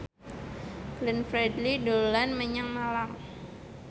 Glenn Fredly dolan menyang Malang